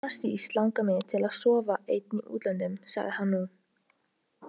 Allra síst langar mig til að sofa einn í útlöndum, sagði hann nú.